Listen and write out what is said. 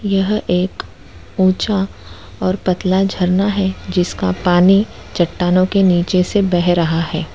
यह एक ऊंचा और पतला झरना है जिसका पानी चट्टानों के नीचे से बह रहा है।